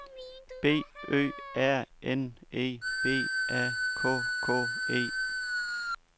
B Ø R N E B A K K E